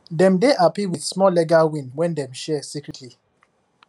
dem dey happy with small legal win wey dem share secretly